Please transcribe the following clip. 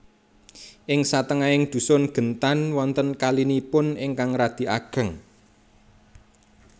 Ing satengahing dhusun Gentan wonten kalinipun ingkang radi ageng